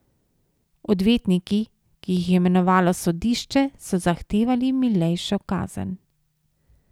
Odvetniki, ki jih je imenovalo sodišče, so zahtevali milejšo kazen.